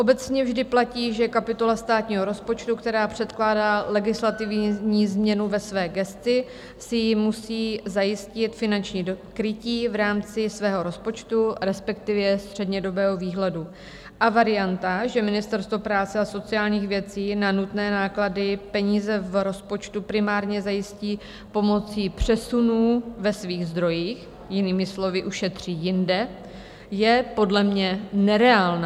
Obecně vždy platí, že kapitola státního rozpočtu, která předkládá legislativní změnu ve své gesci, si musí zajistit finanční krytí v rámci svého rozpočtu, respektive střednědobého výhledu, a varianta, že Ministerstvo práce a sociálních věcí na nutné náklady peníze v rozpočtu primárně zajistí pomocí přesunů ve svých zdrojích, jinými slovy, ušetří jinde, je podle mě nereálná.